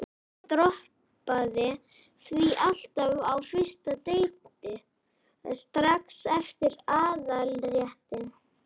Ég droppaði því alltaf á fyrsta deiti, strax eftir aðalréttinn.